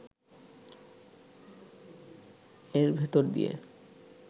এর ভেতর দিয়ে